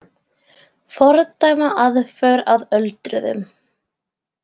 Fordæma aðför að öldruðum